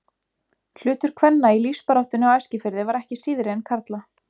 Hlutur kvenna í lífsbaráttunni á Eskifirði var ekki síðri en karla.